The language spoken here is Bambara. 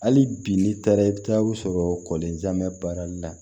Hali bi n'i taara i bɛ taa u sɔrɔ kɔlenjamɛ baarali la